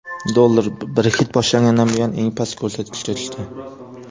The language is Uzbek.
Dollar Brexit boshlangandan buyon eng past ko‘rsatkichga tushdi.